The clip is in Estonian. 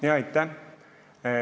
Aitäh!